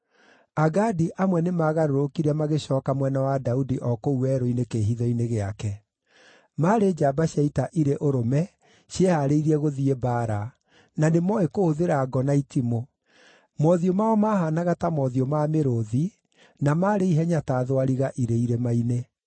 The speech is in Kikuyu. Agadi amwe nĩmagarũrũkire magĩcooka mwena wa Daudi o kũu werũ-inĩ kĩĩhitho-inĩ gĩake. Maarĩ njamba cia ita irĩ ũrũme ciehaarĩirie gũthiĩ mbaara, na nĩmooĩ kũhũthĩra ngo na itimũ. Mothiũ mao maahaanaga ta mothiũ ma mĩrũũthi, na maarĩ ihenya ta thwariga irĩ irĩma-inĩ.